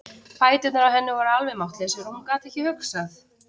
Fæturnir á henni voru alveg máttlausir og hún gat ekki hugsað.